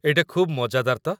ଏଇଟା ଖୁବ୍ ମଜାଦାର ତ।